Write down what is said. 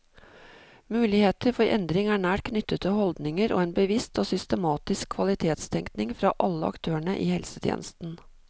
Muligheter for endring er nært knyttet til holdninger og en bevisst og systematisk kvalitetstenkning fra alle aktørene i helsetjenesten.